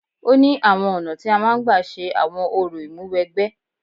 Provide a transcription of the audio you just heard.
Ó ní àwọn ọ̀nà tí a máa ń gbà ṣe àwọn orò ìmúwẹgbẹ́.